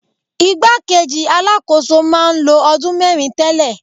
Ìgbá kejì Alákóso máa ń lo ọdún mẹ́rin tẹ́lẹ̀.